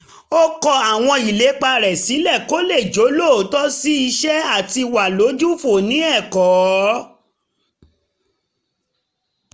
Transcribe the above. ó kọ àwọn ìlépa rẹ̀ sílẹ̀ kó lè jólóòtọ́ sí iṣẹ́ àti wà lójúfò ní ẹ̀kọ́